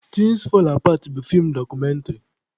Thins fall apart bụ feem dọkụmentrị